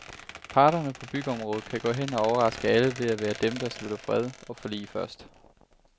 Parterne på byggeområdet kan gå hen og overraske alle ved at være dem, der slutter fred og forlig først.